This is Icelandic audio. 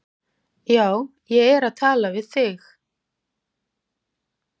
Já, ég er að tala við þig!